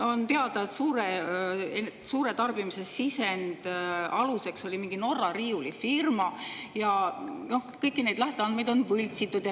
On teada, et suure tarbimise sisendite aluseks oli mingi Norra riiulifirma ja kõiki neid lähteandmeid on võltsitud.